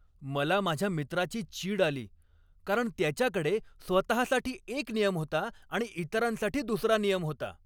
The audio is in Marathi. मला माझ्या मित्राची चीड आली कारण त्याच्याकडे स्वतःसाठी एक नियम होता आणि इतरांसाठी दुसरा नियम होता.